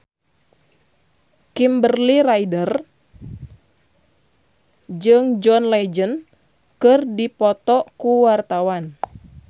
Kimberly Ryder jeung John Legend keur dipoto ku wartawan